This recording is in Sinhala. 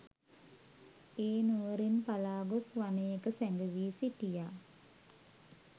ඒ නුවරින් පලා ගොස් වනයක සැඟ වී සිටියා.